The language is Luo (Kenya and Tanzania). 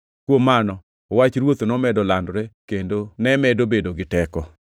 Kuom mano, Wach Ruoth nomedo landore kendo ne medo bedo gi teko.